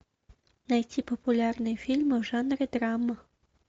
найти популярные фильмы в жанре драма